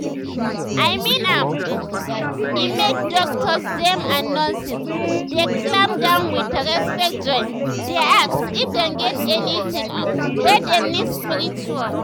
i mean am um eh make doctors dem and nurses dey calm down with respect join um dey ask if dem get anything um wey dem need spiritually.